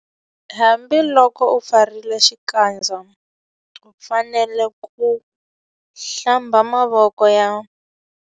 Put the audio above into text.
Hambiloko u ambarile xipfalaxikandza u fanele ku - Hlamba mavoko ya.